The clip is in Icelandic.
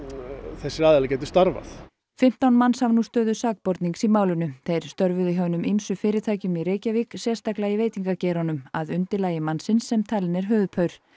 þess að hinir gætu starfað fimmtán manns hafa nú stöðu sakbornings í málinu þeir störfuðu hjá hinum ýmsu fyrirtækjum í Reykjavík sérstaklega í veitingageiranum að manns sem talinn er höfuðpaur